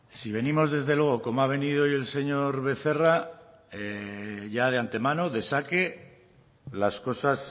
si venimos desde luego como ha venido hoy el señor becerra ya de antemano de saque las cosas